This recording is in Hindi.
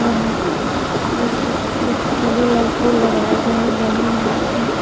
वहाँ फूलो लगा फूल लगाए गए हैं बैलून लगाए गए हैं।